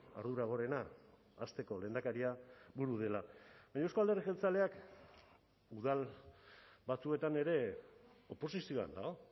ardura gorena hasteko lehendakaria buru dela baina euzko alderdi jeltzaleak udal batzuetan ere oposizioan dago